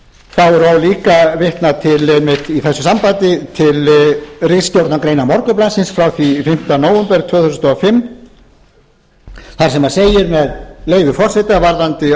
ríkisstjórnarinnar þá er og líka vitnað einmitt til ritstjórnargreinar morgunblaðsins frá fimmta nóvember tvö þúsund og fimm þar sem segir með leyfi forseta varðandi